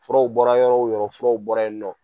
Furaw bɔra yɔrɔ o yɔrɔ furaw bɔra yen nɔ.